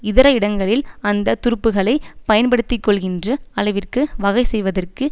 இதர இடங்களில் அந்த துருப்புக்களை பயன்படுத்திக்கொள்கின்ற அளவிற்கு வகை செய்வதற்கு